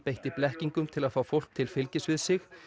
beitti blekkingum til að fá fólk til fylgis við sig